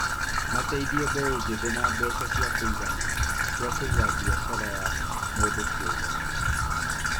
Mateithie mbeũ njĩthĩ na mbeca cia kũigana cia kũiga biacara ya mũndũ kĩũmbe